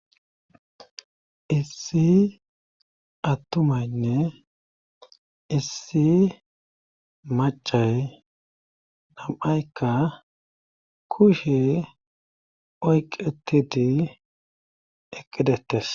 issi attumaynne issi macay nam7aykka kushe oyqetidi eqqi dettes